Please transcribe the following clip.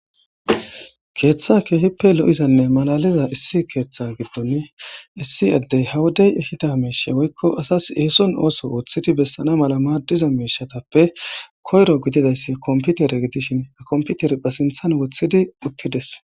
Keeththa keehippe lo'izanne malaliza issi keeththa giddon issi addey hawuday ehida meeshe woykko asas eeson ooso wothidi bessana mala maaddiza meishatappe koyro gididayssi komputere gidishin akomputer ba sinthan wothidi uttides